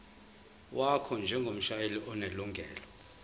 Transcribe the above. wakho njengomshayeli onelungelo